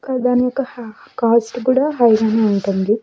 కా-- దాని యొక్క హ- కోస్ట్ కి కూడా హై గానే ఉంటుంది.